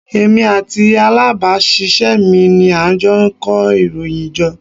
Èmi àti alábàásisẹ́ mi ni a jọ kó ìròyìn jọ.